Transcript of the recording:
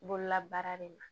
Bololabaara le ma